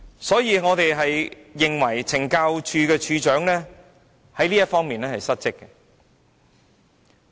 所以，我們認為署長在這方面是失職的。